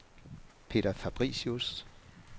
Peder Fabricius